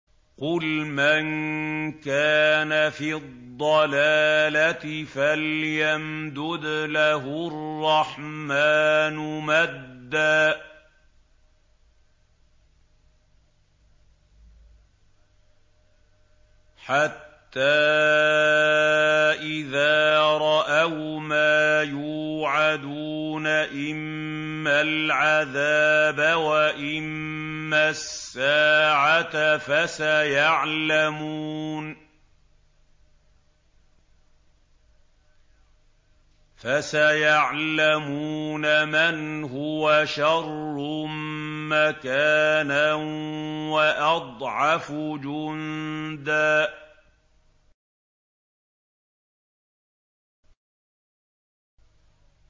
قُلْ مَن كَانَ فِي الضَّلَالَةِ فَلْيَمْدُدْ لَهُ الرَّحْمَٰنُ مَدًّا ۚ حَتَّىٰ إِذَا رَأَوْا مَا يُوعَدُونَ إِمَّا الْعَذَابَ وَإِمَّا السَّاعَةَ فَسَيَعْلَمُونَ مَنْ هُوَ شَرٌّ مَّكَانًا وَأَضْعَفُ جُندًا